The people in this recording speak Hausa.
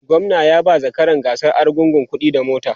gwamna ya ba zakaran gasar argungu kuɗi da mota